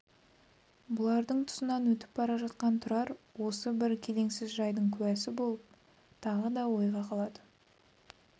бұлардың тұсынан өтіп бара жатқан тұрар осы бір келеңсіз жайдың куәсі болып тағы да ойға қалады